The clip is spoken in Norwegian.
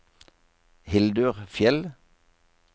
Hildur Fjeld